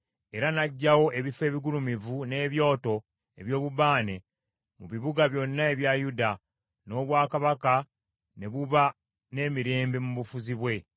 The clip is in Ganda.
Era n’aggyawo ebifo ebigulumivu n’ebyoto eby’obubaane mu bibuga byonna ebya Yuda, n’obwakabaka ne buba n’emirembe mu bufuzi bwe.